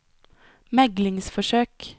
meglingsforsøk